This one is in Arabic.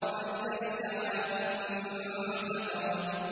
وَإِذَا الْكَوَاكِبُ انتَثَرَتْ